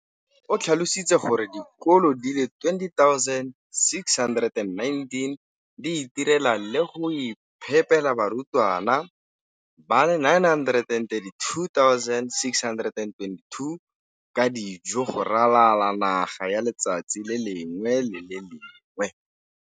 O tlhalositse gore dikolo di le 20 619 di itirela le go iphepela barutwana ba le 9 032 622 ka dijo go ralala naga letsatsi le lengwe le le lengwe.